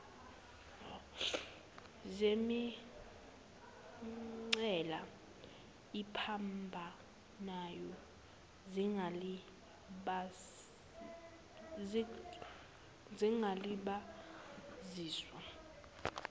zemingcele ephambanayo zingalibaziswa